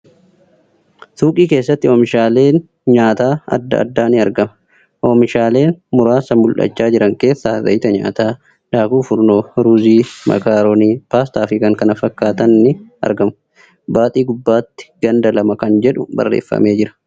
Suuqii keessatti oomishaaleen nyaataa adda addaa ni argama. Oomishaalee muraasa mul'achaa jiran keessaa zayita nyaataa, daakuu furnoo, ruuzii ,makaaroonii, paastaa fi kan kana fakkaatan ni argamu. Baaxii gubbaatti ganda lama kan jedhu barreeffamee jira.